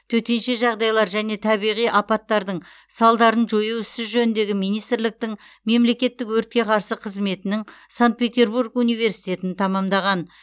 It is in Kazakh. төтенше жағдайлар және табиғи апаттардың салдарын жою ісі жөніндегі министрліктің мемлекеттік өртке қарсы қызметінің санкт петербург университетін тәмамдаған